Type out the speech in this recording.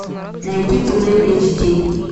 найти туннель эйч ди